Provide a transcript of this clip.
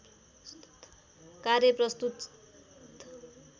कार्य प्रस्तुत